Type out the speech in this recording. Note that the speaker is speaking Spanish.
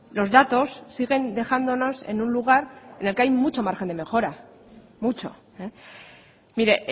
los datos siguen dejándonos en un lugar en el que hay mucho margen de mejora mucho mire